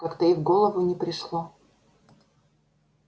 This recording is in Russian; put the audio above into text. как-то и в голову не пришло